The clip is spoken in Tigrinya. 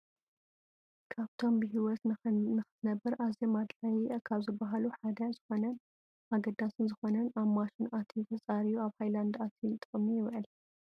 ካብቶም ብሂወት ንክትነብር ኣዝዮም ኣድላይ ካብ ዝብሃሉ ሓደ ዝኮነን ኣገዳስን ዝኮነን ኣብ ማሽን ኣትዩ ተፃርዩ ኣብ ሃይላንድ ኣትዩ ንጥቅሚ ይውዕል።